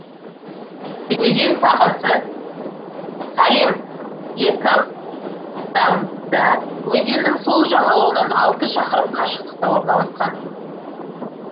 өзен сағасы салем лекабтамбда өзенінің сол жағалауынан алты шақырым қашықтықта орналасқан